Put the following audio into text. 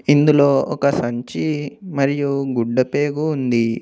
ఇందులో ఒక సంచి మరియు గుడ్డపేగు ఉంది.